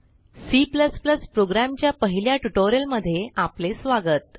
C program च्या पहिल्या ट्युटोरियलमध्ये आपले स्वागत